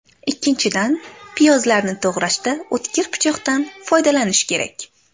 Ikkinchidan, piyozlarni to‘g‘rashda o‘tkir pichoqdan foydalanish kerak.